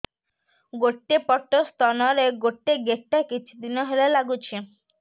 ଗୋଟେ ପଟ ସ୍ତନ ରେ ଗୋଟେ ଗେଟା କିଛି ଦିନ ହେଲା ଲାଗୁଛି